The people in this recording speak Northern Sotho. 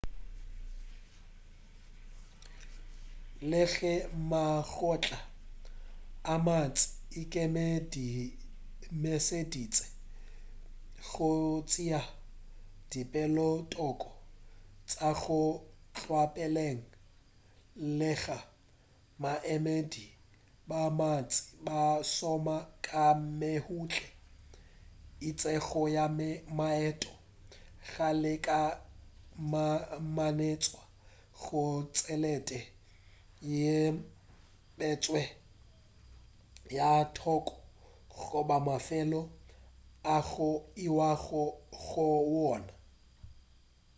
le ge makgotla a mantši a ikemišeditše go tšea dipeelothoko tša go tlwaelega baemedi ba bantši ba šoma ka mehutye itšego ya maeto go lekalekanetšwa ga tšhelete yeo e beetšwego ka thoko goba mafelo ao go iwago go wona